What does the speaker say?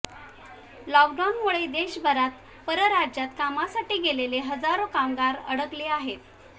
लॉकडाऊनमुळे देशभरात परराज्यात कामासाठी गेलेले हजारो कामगार अडकले आहेत